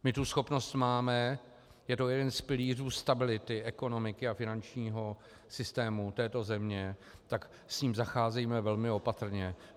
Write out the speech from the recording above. My tu schopnost máme, je to jeden z pilířů stability ekonomiky a finančního systému této země, tak s ním zacházejme velmi opatrně.